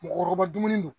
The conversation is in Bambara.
Mɔgɔkɔrɔba dumuni don